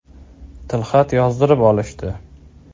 Tilxat yozdirib olishdi.